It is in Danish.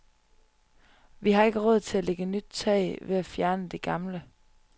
Vi har ikke råd til at lægge nyt tag ved at fjerne det gamle.